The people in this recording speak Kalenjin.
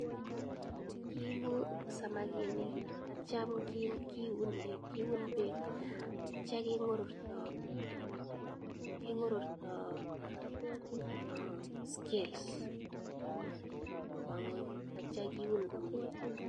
Kiipu samakinik atyam kiune pek atya keng'ororto scales kopa ng'weny atyam kiun komnye .